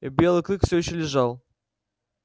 белый клык все ещё лежал